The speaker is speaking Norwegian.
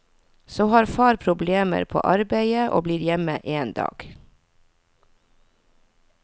Så har far problemer på arbeidet og blir hjemme en dag.